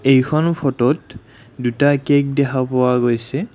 এইখন ফটোত দুটা কেক দেখা পোৱা গৈছে।